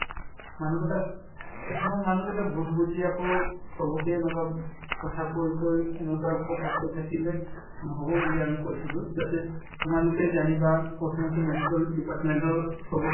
মানুহকেইটাই কিছুমান মানুহ কেইটাই ভূল বুজি আকৌ চবকে এনেকুৱা উব কথা কৈ কৈ এনেকুৱা কথা কৈ থাকিলে নহব বুলি আমি কৈছিলো যাতে তোমালোকে জানিবা প্ৰথমতে medical department ৰ চবকে